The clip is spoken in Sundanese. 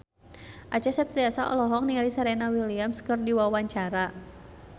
Acha Septriasa olohok ningali Serena Williams keur diwawancara